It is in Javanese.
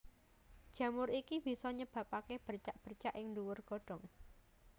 Jamur iki bisa nyebabaké bercak bercak ing dhuwur godhong